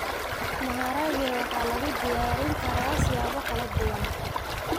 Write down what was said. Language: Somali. Maharage waxaa lagu diyaarin karaa siyaabo kala duwan.